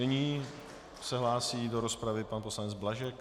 Nyní se hlásí do rozpravy pan poslanec Blažek.